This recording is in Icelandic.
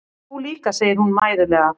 Þú líka, segir hún mæðulega.